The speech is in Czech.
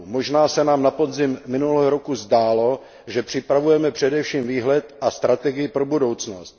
Možná se nám na podzim minulého roku zdálo, že připravujeme především výhled a strategii pro budoucnost.